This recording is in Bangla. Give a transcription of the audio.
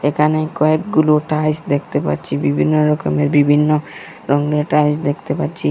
এখানে কয়েকগুলো টাইলস দেখতে পাচ্ছি বিভিন্ন রকমের বিভিন্ন রঙ্গের টাইলস দেখতে পাচ্ছি।